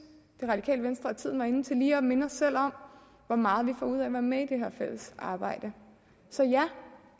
det radikale venstre at tiden er inde til lige at minde os selv om hvor meget vi får ud af at være med i det her fælles arbejde så ja